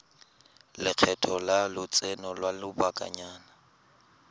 lekgetho la lotseno lwa lobakanyana